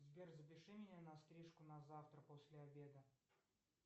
сбер запиши меня на стрижку на завтра после обеда